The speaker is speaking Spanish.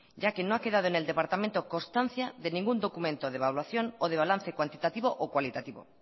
ya que no ha quedado en el de departamento constancia de ningún documento de evaluación o de balance cuantitativo o cualitativo